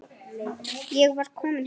Ég var komin heim.